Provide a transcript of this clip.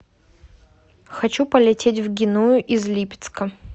хочу полететь в геную из липецка